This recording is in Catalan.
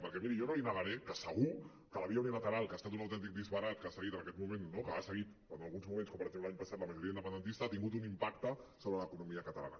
perquè miri jo no li negaré que segur que la via unilateral que ha estat un autèntic disbarat que ha seguit en alguns moments com per exemple l’any passat la ma·joria independentista ha tingut un impacte sobre l’economia catalana